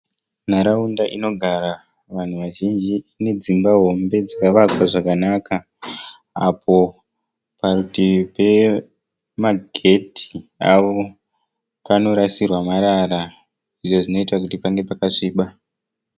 Nharaunda inogara vanhu vazhinji ine dzimba hombe dzakavakwa zvakanaka. Apo parutivi pemagedhi avo panorasirwa marara izvo zvinoita kuti pange pakasviba.